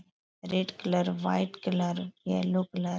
Red colour white colour yellow colour.